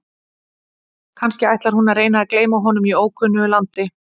Kannski ætlar hún að reyna að gleyma honum í ókunnu landi?